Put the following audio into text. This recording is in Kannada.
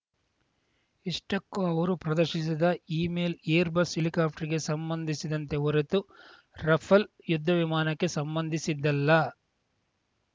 ಇಷ್ಟಕ್ಕೂ ಅವರು ಪ್ರದರ್ಶಿಸಿದ ಇಮೇಲ್‌ ಏರ್‌ಬಸ್‌ ಹೆಲಿಕಾಪ್ಟರ್‌ಗೆ ಸಂಬಂಧಿಸಿದಂತೆ ಹೊರತು ರಫೇಲ್‌ ಯುದ್ಧವಿಮಾನಕ್ಕೆ ಸಂಬಂಧಿಸಿದ್ದಲ್ಲ